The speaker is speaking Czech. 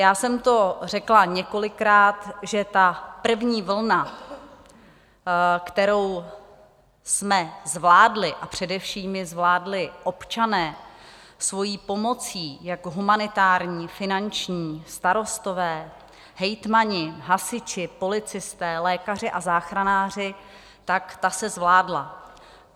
Já jsem to řekla několikrát, že ta první vlna, kterou jsme zvládli, a především ji zvládli občané svou pomocí jak humanitární, finanční, starostové, hejtmani, hasiči, policisté, lékaři a záchranáři, tak ta se zvládla.